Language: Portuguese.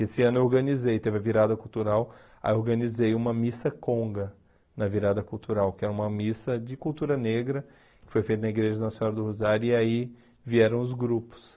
Esse ano eu organizei, teve a virada cultural, aí eu organizei uma missa conga na virada cultural, que era uma missa de cultura negra, que foi feita na Igreja Nossa Senhora do Rosário, e aí vieram os grupos.